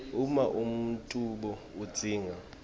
uma umbuto udzinga